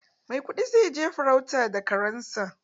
Maikudi zai je farauta da karen sa.